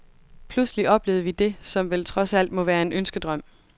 Pludselig oplevede vi det, som vel trods alt må være en ønskedrøm.